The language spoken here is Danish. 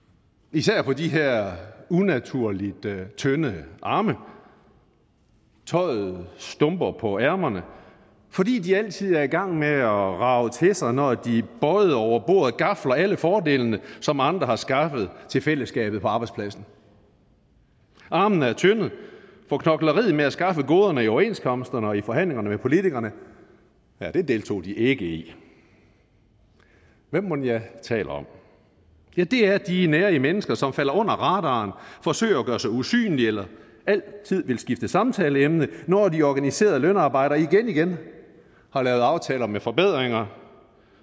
især på de her unaturligt tynde arme tøjet stumper på ærmerne fordi de altid er i gang med at rage til sig når de bøjet over bordet gafler alle fordelene som andre har skaffet til fællesskabet på arbejdspladsen armene er tynde for knokleriet med at skaffe goderne i overenskomsterne og i forhandlingerne med politikerne deltog de ikke i hvem mon jeg taler om ja det er de nærige mennesker som falder under radaren forsøger at gøre sig usynlige eller altid vil skifte samtaleemne når de organiserede lønarbejdere igen igen har lavet aftaler med forbedringer